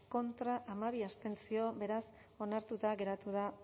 contra hamabi abstentzio beraz ez onartuta geratu da